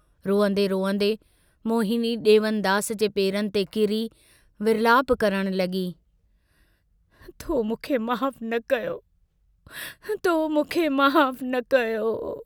रोअन्दे रोअन्दे मोहिनी डेवनदास जे पेरनि ते किरी विर्लाप करण लगी तो मूंखे माफ़ न कयो... तो मूंखे माफ़ न कयो...!